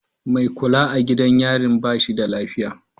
Mai kula a gidan yarin ba shi da lafiya.